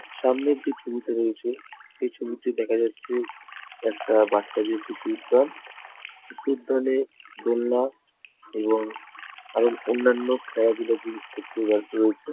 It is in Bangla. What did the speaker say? সামনের যে ছবিটা রয়েছে সেই ছবিতে দেখা যাচ্ছে একটা বাচ্চাদের শিশু উদ্যান। শিশু উদ্যানে দোলনা এবং আরও অন্যান্য খেলাধুলার জিনিসপত্র রাখা রয়েছে।